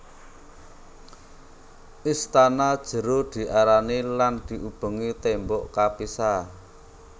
Istana jero diarani lan diubengi tembok kapisah